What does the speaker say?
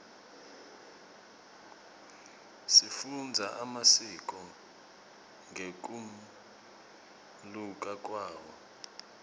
sifundza emasiko ngekunluka kwawo